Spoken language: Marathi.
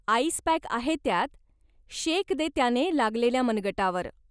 आईस पॅक आहे त्यात, शेक दे त्याने लागलेल्या मनगटावर.